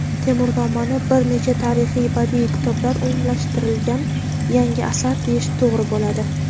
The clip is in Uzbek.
"Temurnoma"ni bir necha tarixiy badiiy kitoblar umumlashtirilgan yangi asar deyish to‘g‘ri bo‘ladi.